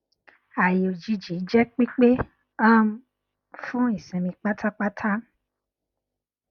ààyè òjijì jẹ pípé um fún ìsinmi pátápátá